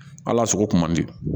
Hal'a sogo kuma bɛ